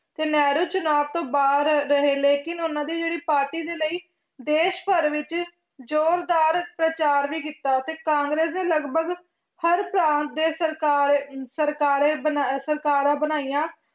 ਤੇ ਨਹਿਰੂ ਚੁਣਾਵ ਤੋਂ ਬਾਹਰ ਰਹੇ ਲੇਕਿੰਨ ਉਹਨਾਂ ਦੀ ਜਿਹੜੀ ਪਾਰਟੀ ਦੇ ਲਈ ਦੇਸ ਭਰ ਵਿੱਚ ਜ਼ੋਰਦਾਰ ਪ੍ਰਚਾਰ ਵੀ ਕੀਤਾ ਤੇ ਕਾਂਗਰਸ ਨੇ ਲਗਪਗ ਹਰ ਦੇ ਸਰਕਾਰ ਸਰਕਾਰੇ ਬਣਾ~ ਸਰਕਾਰਾਂ ਬਣਾਈਆਂ